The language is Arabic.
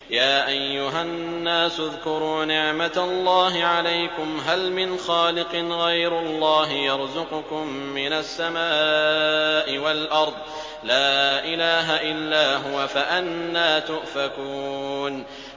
يَا أَيُّهَا النَّاسُ اذْكُرُوا نِعْمَتَ اللَّهِ عَلَيْكُمْ ۚ هَلْ مِنْ خَالِقٍ غَيْرُ اللَّهِ يَرْزُقُكُم مِّنَ السَّمَاءِ وَالْأَرْضِ ۚ لَا إِلَٰهَ إِلَّا هُوَ ۖ فَأَنَّىٰ تُؤْفَكُونَ